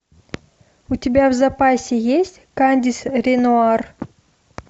у тебя в запасе есть кандис ренуар